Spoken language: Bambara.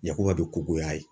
Yakuba be ko goya ye.